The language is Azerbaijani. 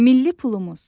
Milli pulumuz.